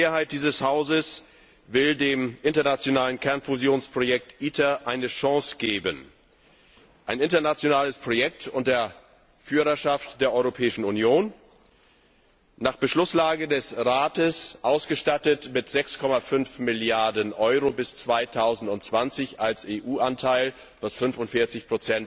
Die Mehrheit dieses Hauses will dem internationalen Kernfusionsprojekt ITER eine Chance geben ein internationales Projekt unter Führerschaft der Europäischen Union, nach Beschlusslage des Rates mit 6,5 Milliarden EUR bis 2020 als EU Anteil ausgestattet, was 45